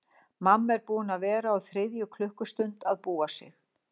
Mamma er búin að vera á þriðju klukkustund að búa sig.